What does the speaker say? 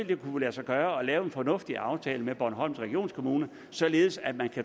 det kunne lade sig gøre at lave en fornuftig aftale med bornholms regionskommune således at man